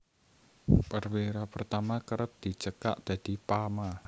Perwira Pertama kerep dicekak dadi Pama